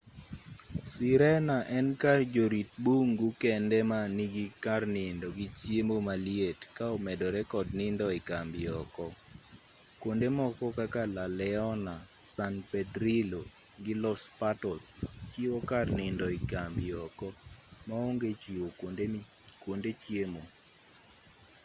sirena en kar jorit bungu kende ma nigi kar nindo gi chiemo maliet ka omedore kod nindo ekambi oko kuonde moko kaka la leona san pedrillo gi los patos chiwo kar nindo ekambi oko maonge chiwo kuonde chiemo